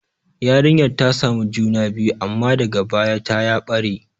Yarinyar ta samu juna biyu, amma daga baya ta ya ɓare.